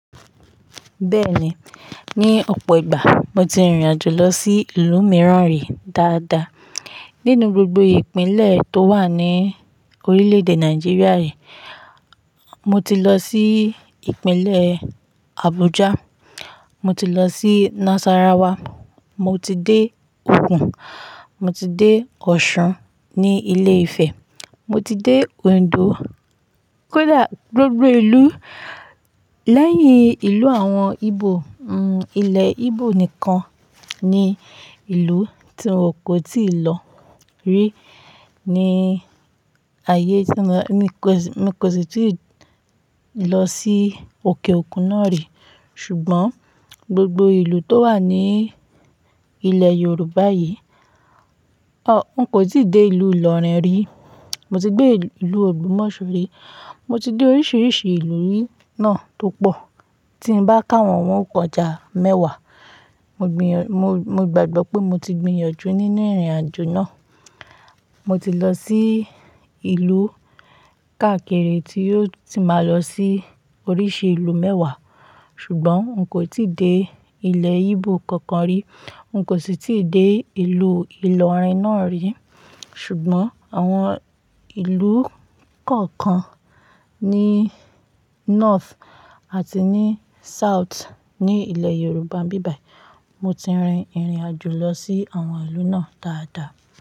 Bẹ́ẹ̀ni, ní ọ̀pọ̀ ìgbà mo ti rìnrìn àjò lọ sí ìlú mìíràn rí dáadáa. Nínú gbogbo ìpínlẹ̀ tó wà ní orílẹ̀èdè Nàìjíríà yii mo ti lọ sí ìpínlẹ̀ Abuja, mo ti lọ sí Nasarawa, mo ti dé Ògùn, mo ti dé Ọ̀ṣun ní ilé Ifẹ̀, mo ti dé Ondo. Kódà gbogbo ìlú lẹ́yìn ìlú àwọn Íbò, ilẹ̀ Íbò nìkan ni ìlú tí n kò tíì lọ rí ní ayé tí mo Mi kò sì tí ì lọ sí òkè òkun náà rí. Ṣùgbọ́n gbogbo ìlú tó wà ní ilẹ̀ Yorùbá yìí, n kò tíì dé ìlú Ilorin rí. Mo ti gbé ìlú Ògbómọ̀ṣọ́ rí. Mo ti dé oríṣiríṣi ìlú rí náà tó pọ̀. Tí n bá ká wọn, wọn yóò kọ̀ já mẹ́wàá. Mo gbàgbọ́ pé mo ti gbinyanju nínú ìrìnàjò náà. Mo ti lọ sí ìlú káàkiri tí yóò ti máa lọ sí oríṣi ìlú mẹ́wàá. Ṣùgbọ́n n kò tíì dé ilẹ̀ Íbò kankan rí. N kò sì tí ì dé ìlú Ilorin náà rí. Ṣùgbọ́n àwọn ìlú kọ̀ọ̀kan ní north àti ní south ní ilẹ̀ Yorùbá bíbàí, mo ti rin ìrìnàjò lọ sí àwọn ìlú náà dáadáa.